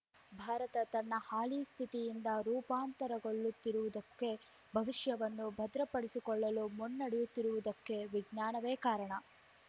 ಭಾರತ ತನ್ನ ಹಾಲಿ ಸ್ಥಿತಿಯಿಂದ ರೂಪಾಂತರಗೊಳ್ಳುತ್ತಿರುವುದಕ್ಕೆ ಭವಿಷ್ಯವನ್ನು ಭದ್ರಪಡಿಸಿಕೊಳ್ಳಲು ಮುನ್ನಡೆಯುತ್ತಿರುವುದಕ್ಕೆ ವಿಜ್ಞಾನವೇ ಕಾರಣ